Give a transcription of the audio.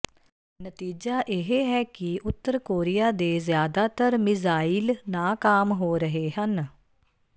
ਨਤੀਜਾ ਇਹ ਹੈ ਕਿ ਉਤਰ ਕੋਰੀਆ ਦੇ ਜ਼ਿਆਦਾਤਰ ਮਿਜ਼ਾਈਲ ਨਾਕਾਮ ਹੋ ਰਹੇ ਹਨ